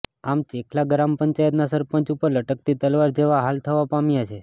આમ ચેખલા ગ્રામપંચાયતના સરપંચ ઉપર લટકતી તલવાર જેવા હાલ થવા પામ્યા છે